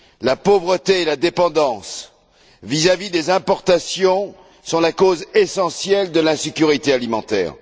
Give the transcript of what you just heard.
La pauvreté et la dépendance vis à vis des importations sont la cause essentielle de l'insécurité alimentaire.